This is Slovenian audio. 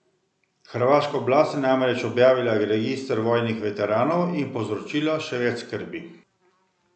Hrvaška oblast je namreč objavila register vojnih veteranov in povzročila še več skrbi.